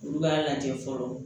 Olu b'a lajɛ fɔlɔ